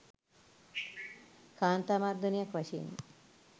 කාන්තා මර්දනයක් වශයෙනි